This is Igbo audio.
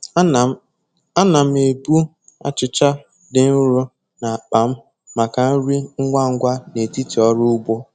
Ana m Ana m ebu achịcha dị nro n'akpa m maka nri ngwa ngwa n'etiti ọrụ ugbo.